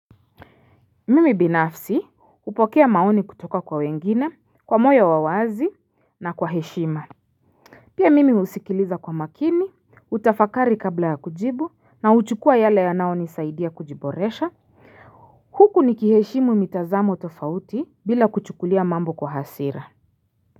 Mimi binafsi hupokea maoni kutoka kwa wengine kwa moyo wa wazi na kwa heshima Pia mimi husikiliza kwa makini, utafakari kabla ya kujibu na huchukua yale yanaonisaidia kujiboresha Huku nikiheshimu mitazamo tofauti bila kuchukulia mambo kwa hasira.